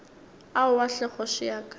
aowa hle kgoši ya ka